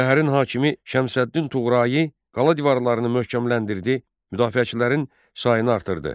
Şəhərin hakimi Şəmsəddin Tuğrai qala divarlarını möhkəmləndirdi, müdafiəçilərin sayını artırdı.